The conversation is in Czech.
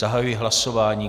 Zahajuji hlasování.